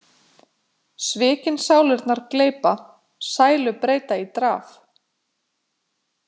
Svikin sálirnar gleypa, sælu breyta í draf.